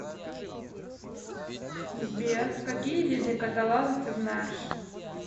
сбер какие виды каталаза ты знаешь